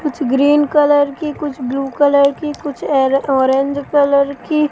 कुछ green colour की कुछ ब्लू कलर की कुछ ऐरे ऑरेंज कलर की--